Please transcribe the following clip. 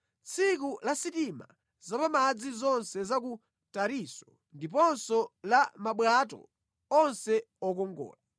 tsiku la sitima zapamadzi zonse za ku Tarisisi ndiponso la mabwato onse okongola.